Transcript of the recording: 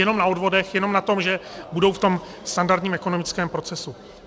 Jenom na odvodech, jenom na tom, že budou v tom standardním ekonomickém procesu.